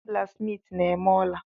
Ndị blaksmiiti na-eme ola.